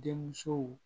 Denmusow